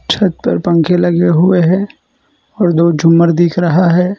छत पर पंखे लगे हुए हैं और दो झूमर दिख रहा है।